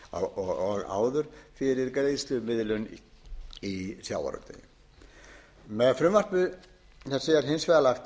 og áður fyrir greiðslumiðlun í sjávarútvegi með frumvarpi þessu er hins vegar lagt